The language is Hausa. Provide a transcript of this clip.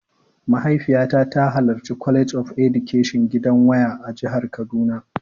Mahaifiyata ta halarci College of Education gidan waya a jihar kaduna.